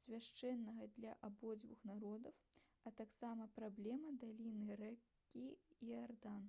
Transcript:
свяшчэннага для абодвух народаў а таксама праблема даліны ракі іардан